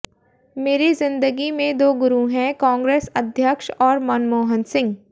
मेरी जिंदगी में दो गुरु हैं कांग्रेस अध्यक्ष और मनमोहन सिंह